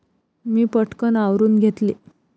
मी पटकन आवरून घेतले.